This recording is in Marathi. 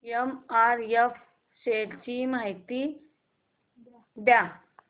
एमआरएफ शेअर्स ची माहिती द्या